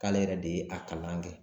K'ale yɛrɛ de ye a kalan kɛ